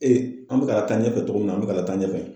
Ee an be ka taa ɲɛfɛ cogo min na an be ka taa ɲɛfɛ.